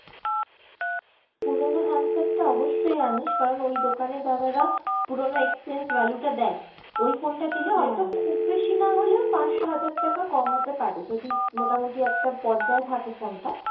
পুরনো handset টা অবশ্যই আনিস কারন ওই দোকানে দাদারা পুরনো exchange value টা দেয়, ওই phone টা দিলে হয়তো খুব বেশি না হলেও পাঁচশো হাজার টাকা কমাতে পারে যদি মোটামোটি একটা পর্যায় থাকে phone টা,